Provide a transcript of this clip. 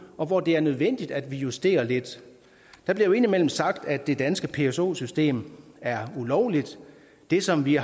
og hvor det er nødvendigt at vi justerer lidt der bliver jo indimellem sagt at det danske pso system er ulovligt det som vi